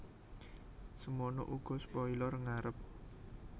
Semana uga spoiler ngarep